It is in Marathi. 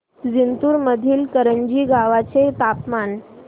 जिंतूर मधील करंजी गावाचे तापमान